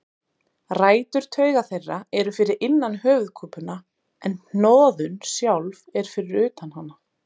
Rætur tauga þeirra eru fyrir innan höfuðkúpuna en hnoðun sjálf eru fyrir utan hana.